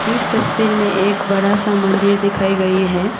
इस तस्वीर में एक बड़ा सा मंदिर दिखाई गई है।